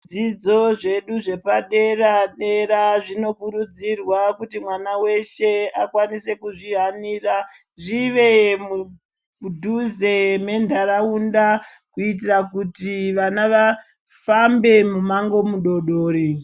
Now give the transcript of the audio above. Zvidzidzo zvedu zvepadera dera zvinokurudzirwa kuti mwana weshe akwanise kuzvihanira zvive mudhuze mentaraunda kuitira kuti vana vafambe mumango mudodori.